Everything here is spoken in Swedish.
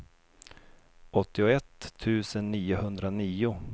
åttioett tusen niohundranio